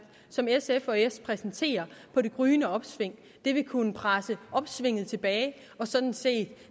som s og sf præsenterer på det gryende opsving vil kunne presse opsvinget tilbage og sådan set